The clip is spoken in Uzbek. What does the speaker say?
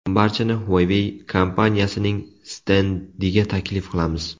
Barchani Huawei kompaniyasining stendiga taklif qilamiz.